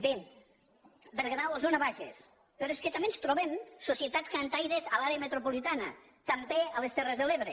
bé berguedà osona bages però és que també ens trobem societats cantaires a l’àrea metropolitana i també a les terres de l’ebre